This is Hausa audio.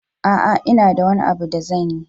A'a, ina da wani abu da zanyi.